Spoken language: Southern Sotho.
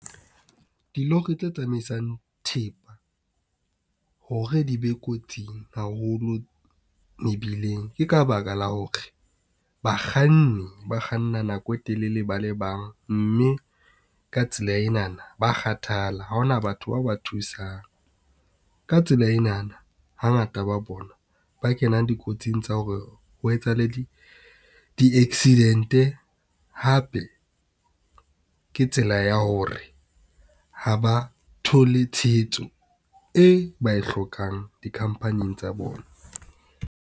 Dilori tse tsamaisang thepa hore di be kotsing haholo mebileng. Ke ka baka la hore bakganni ba kganna nako e telele ba le bang, mme ka tsela enana ba kgathala ha hona batho bao ba thusang. Ka tsela enana hangata ba bona ba kenang dikotsing tsa hore ho etsahale di-accident-e hape ke tsela ya hore ha ba thole tshehetso e ba e hlokang dikhampaning tsa bona.